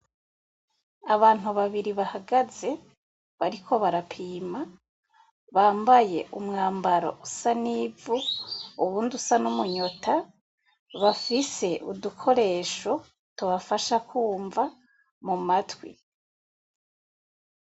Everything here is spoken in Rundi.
Abantu babiri bahagaze bariko barapima bambaye umwambaro usa n'ivu uwundi usa n'umunyota bafise udukoresho tubafasha kwumva mu matwi.